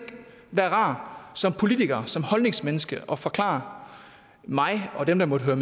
være rar som politiker som holdningsmenneske at forklare mig og dem der måtte